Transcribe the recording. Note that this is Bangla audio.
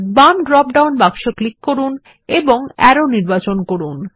বাম ড্রপ ডাউন বাক্স ক্লিক করুন এবং আরো নির্বাচন করুন